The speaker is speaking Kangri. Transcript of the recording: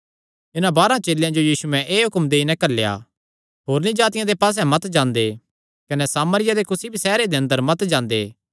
इन्हां बारांह चेलेयां जो यीशुयैं एह़ हुक्म देई नैं घल्लेया होरनी जातिआं दे पास्से मत जांदे कने सामरियां दे कुसी भी सैहरे दे अंदर मत जांदे